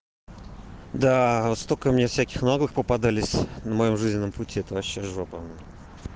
да вот только мне всяких новых попадались на моем жизненном пути это вообще жопа